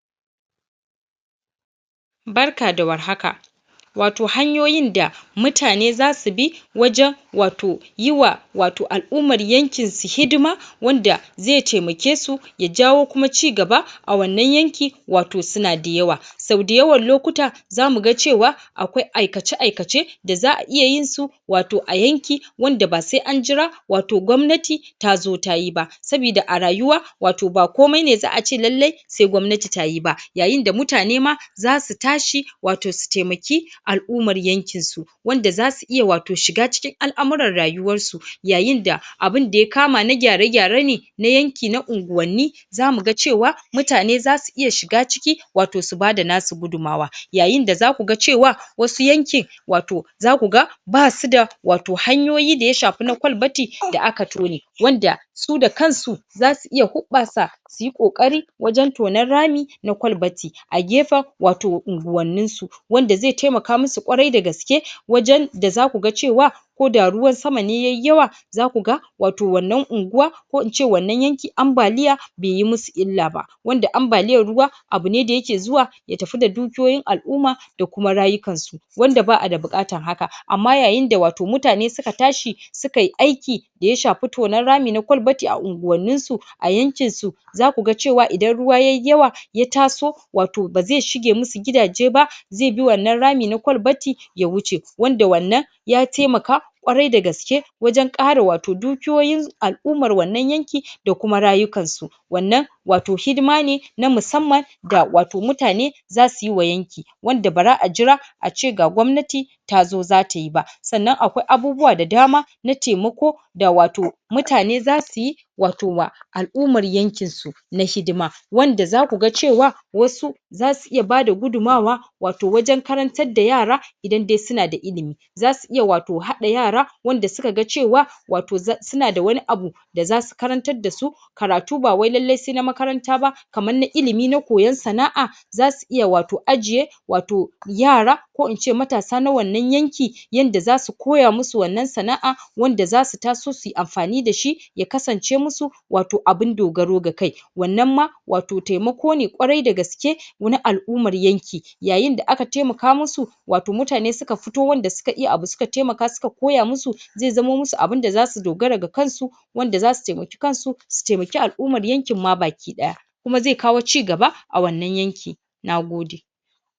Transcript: Barka da warhaka wato hanyoyin da mutane zasu bi wajen wato yiwa wato al'umman yankin su hidima wanda zai taimake su ya jawo kuma ci gaba a wannan yanki wato suna da yawa. Sau dayawan lokuta zamuga cewa akwai aikace aikace da za'a iya yinsu wato a yanki wanda ba sai an jira wato gwamnati tazo tayi ba. Sabida a rayuwa wato ba komai ne za'ace lallai sai gwamnati tayibe, yayinda mutanema zasu tashi wato su taimaki al'ummar yankin su. Wanda zasu iya wato shiga cikin al'amurran rayuwar su yayin da abunda ya kama na gyare gyare ne na yanki na unguwanni zamuga cewa, mutane zasu iya shiga ciki wato su bada nasu gudummawa. Yayinda zakuga cewa wasu yankin wato zakuga basuda wato hanyoyi da ya shafi na kwalbati da aka tone. Wanda su dakan su zasu iya huɓɓasa suyi ƙoƙari wajen tonan rami na kwalbati a gefen wato unguwannin su. Wanda zai taimaka masu ƙwarai da gaske wajen da zakuga cewa koda ruwan sama ne yayi yawa zakuga wato wannan unguwa ko ince wannan yanki ambaliya baiyi musu illa ba. Wanda ambaliyan ruwa abune da yake zuwa ya tafi da dukiyoyin al'uma da kuma rayukan su. Wanda ba'a da bukatan haka Amma yayin da wato mutane suka tashi su kayi aiki da ya shafi na tonan rami na kwalbati a unguwannin su a yankin su zakuga cewa idan ruwa yayi yawa ya taso wato bazai shige masu gidaje ba zaibi wannan rami na kwalbati ya wuce. Wanda wannan ya taimaka ƙwarai da gaske wajen kare wato dukiyoyin al'umar wannan yanki da kuma rayukan su. Wannan wato hidima ne na musamman ga wato mutane zasuyiwa yankin wanda baza'a jira ace ga gwamnati tazo zatayi ba. Sannan akwai abubuwa da dama na taimako da wato mutane zasuyi wato wa al'umar yankinsu. na hidima wanda zakuga cewa wasu zasu iya bada gudumawa wato wajen karantar da yara idan dai suna da ilimi. Zasu iya wato hada yara wanda sukaga cewa wato sunada wani abu da zasu karantar dasu karatu bawai lallai saina makaranta ba kamarna ilimi na koyon sana'a zasu iya wato ajiye wato yara ko ince matasa na wannan yanki yanda zasu koya masu wannan sana'a wanda zasu taso suyi amfani dashi ya kasance musu wato abun dogaro ga kai. Wannan ma wato taimako ne ƙwarai da gaske na al'umar yanki. Yayin da aka taimaka musu wato mutane suka fito wanda suka iya abu suka taimaka suka koya musu zai zamo musu abunda zasu dogara ga kansu wanda zasu taimaki kansu, su taimaki al'umar yankin ma baki daya. Kuma zai kawo ci gaba a wannan yanki. Nagode.